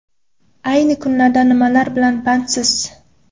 A yni kunlarda nimalar bilan bandsiz?